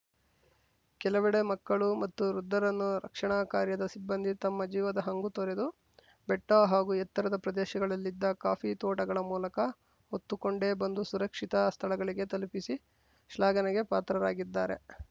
ಕೆಲವೆಡೆ ಮಕ್ಕಳು ಮತ್ತು ವೃದ್ಧರನ್ನು ರಕ್ಷಣಾ ಕಾರ್ಯದ ಸಿಬ್ಬಂದಿ ತಮ್ಮ ಜೀವದ ಹಂಗು ತೊರೆದು ಬೆಟ್ಟಹಾಗೂ ಎತ್ತರದ ಪ್ರದೇಶಗಳಲ್ಲಿದ್ದ ಕಾಫಿ ತೋಟಗಳ ಮೂಲಕ ಹೊತ್ತುಕೊಂಡೇ ಬಂದು ಸುರಕ್ಷಿತ ಸ್ಥಳಗಳಿಗೆ ತಲುಪಿಸಿ ಶ್ಲಾಘನೆಗೆ ಪಾತ್ರರಾಗಿದ್ದಾರೆ